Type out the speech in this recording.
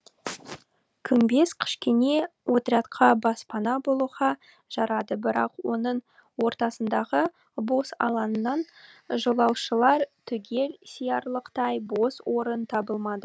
күмбез кішкене отрядқа баспана болуға жарады бірақ оның ортасындағы бос алаңнан жолаушылар түгел сиярлықтай бос орын табылмады